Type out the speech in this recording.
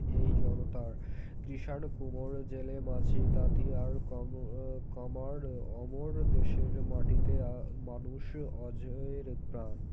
এই জনতার কিষান কুমোর জেলে মাঝি তাঁতি আর কমর আ কামার অমর দেশের মাটিতে আ মানুষ অজয়ের প্রাণ